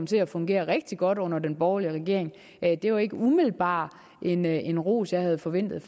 til at fungere rigtig godt under den borgerlige regering det er jo ikke umiddelbart en en ros jeg havde forventet at